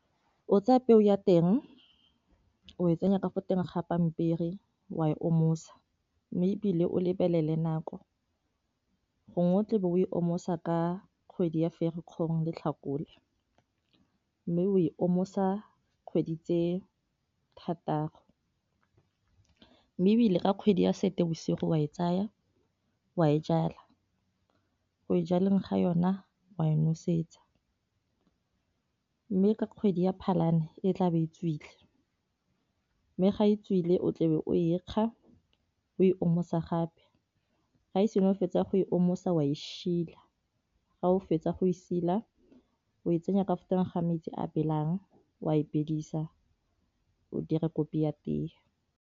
O tsaya peo ya teng o e tsenya ka go teng ga pampiri wa e omosa, mme e bile o lebelele nako gongwe o tla bo o e omosa ka kgwedi ya ferikgong le tlhakole, mme o e omosa kgwedi tse thataro mme e bile ka kgwedi ya seetebosigo wa e tsaya wa e jala, go e jaleng ga yona wa e nosetsa mme ka kgwedi ya phalane e tla ba e tswile mme ga e tswile o tlebe o ekga o e omosa gape, ga e sengwe o fetsa go e omosa wa e shila ga o fetsa go e sila o e tsenya ka fa teng ga metsi a belang o a e bedisa o dira kopi ya teye.